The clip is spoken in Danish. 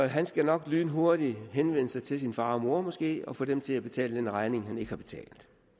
han skal nok lynhurtigt henvende sig til sin far og mor måske og få dem til at betale den regning han ikke har betalt